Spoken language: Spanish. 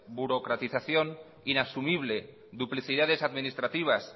burocratización inasumible duplicidades administrativas